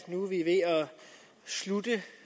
slutte